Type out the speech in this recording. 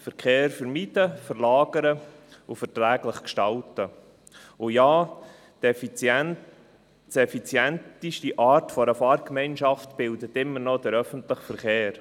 Verkehr vermeiden, verlagern und verträglich gestalten, und ja, die effizienteste Art einer Fahrgemeinschaft bildet immer noch der öffentliche Verkehr.